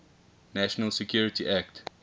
national security act